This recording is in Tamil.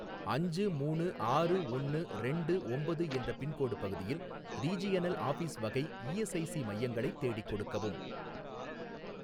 அஞ்சு மூணு ஆறு ஒன்னு ரெண்டு ஒம்பது என்ற பின்கோடு பகுதியில் ரீஜியனல் ஆஃபீஸ் வகை இஎஸ்ஐசி மையங்களைத் தேடிக் கொடுக்கவும்